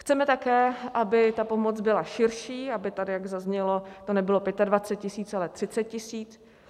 Chceme také, aby ta pomoc byla širší, aby, jak tady zaznělo, to nebylo 25 tisíc, ale 30 tisíc.